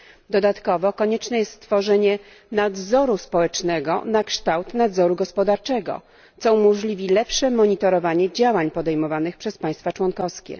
Dodatkowo konieczne jest stworzenie nadzoru społecznego na kształt nadzoru gospodarczego, co umożliwi lepsze monitorowanie działań podejmowanych przez państwa członkowskie.